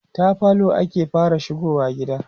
ta falo ake fara shigowa gida